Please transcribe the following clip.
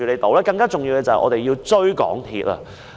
更重要的是，我們要追究港鐵公司。